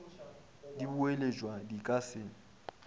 di boeletšwa di ka se